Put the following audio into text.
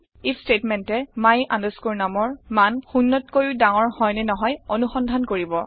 if ষ্টেটমেণ্টে my numৰ মান শূন্যতকৈও০ ডাঙৰ হয় নে নহয় অনুসন্ধান কৰিব